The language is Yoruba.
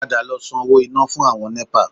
Padà lọ san owó iná fún àwọn Nẹ́pà